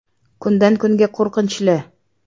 Kundan kunga qo‘rqinchli”.